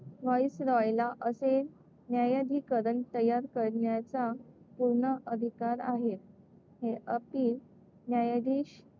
व्हाईसरॉयला असे न्यायाधिकरण तयार करण्याचा पूर्ण अधिकार आहे. हे अपील न्यायाधीश,